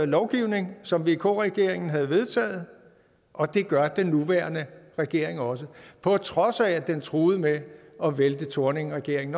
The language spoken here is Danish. lovgivning som vk regeringen havde vedtaget og det gør den nuværende regering også på trods af at den truede med at vælte thorningregeringen